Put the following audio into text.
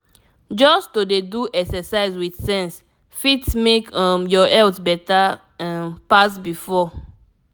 just to dey do exercise with sense fit make um your health better um pass before.